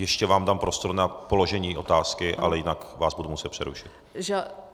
Ještě vám dám prostor na položení otázky, ale jinak vás budu muset přerušit.